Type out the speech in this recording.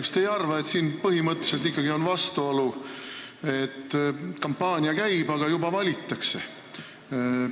Kas te ei arva, et siin on põhimõtteliselt ikkagi vastuolu, et kampaania käib, aga juba hääletatakse?